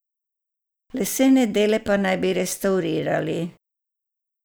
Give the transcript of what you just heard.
Lesene dele pa naj bi restavrirali.